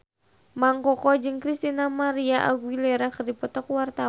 Mang Koko jeung Christina María Aguilera keur dipoto ku wartawan